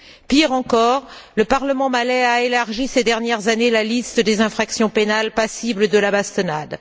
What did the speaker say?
Pire encore, le parlement malais a élargi ces dernières années la liste des infractions pénales passibles de la bastonnade.